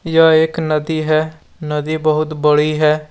यह एक नदी है नदी बहुत बड़ी है।